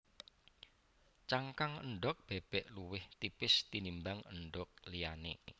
Cangkang endhog bébék luwih tipis tinimbang endhog liyané